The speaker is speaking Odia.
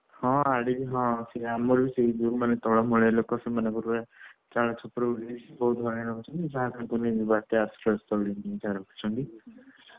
ହଁ ଆଡେ ବି ହଁ ସେଇ ଆମର ବି ସେଇ ଯୋଉମାନେ ତଳ ମାଳିଆ ଲୋକ ସେମାନଙ୍କର ଚାଳ ଛପର ଉଡିଯାଇଛି, ବହୁତ ହଇରାଣ ହଉଛନ୍ତି, ବହୁତ ଆଶ୍ରୟ ସ୍ଥଳୀରେ ଯାଇ ରହୁଛନ୍ତି ।